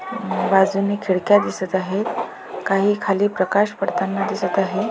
बाजूने खिडक्या दिसत आहे काही खाली प्रकाश पडताना दिसत आहे.